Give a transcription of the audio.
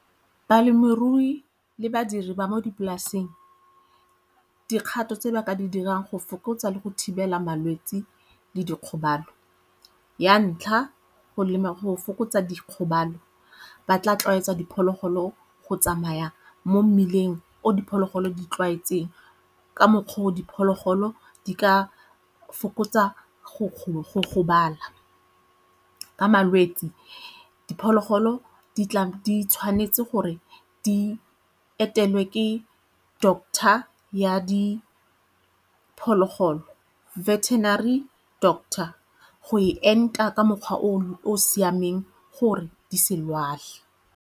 Balemirui le badiri ba mo dipolaseng, dikgato tse ba ka di dirang go fokotsa le go thibela malwetse le dikgobalo. Ya ntlha, go lema go fokotsa dikgobalo, ba tla tlwaetsa diphologolo go tsamaya mo mmileng o diphologolo di tlwaetseng ka mokgwa o diphologolo di ka fokotsa go gobala ka malwetse diphologolo di tshwanetse gore di etele ke doctor ya diphologolo veterinary doctor go e enta ka mokgwa o o siameng gore di se lwale.